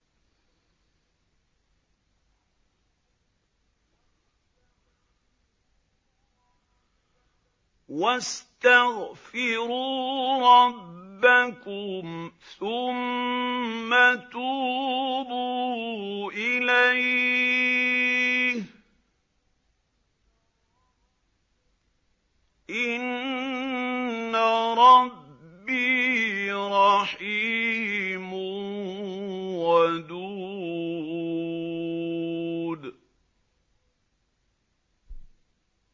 وَاسْتَغْفِرُوا رَبَّكُمْ ثُمَّ تُوبُوا إِلَيْهِ ۚ إِنَّ رَبِّي رَحِيمٌ وَدُودٌ